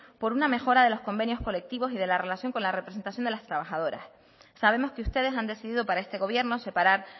por una mejora de los convenios colectivos y de la relación con la representación de los trabajadores sabemos que ustedes han decidido para este gobierno separar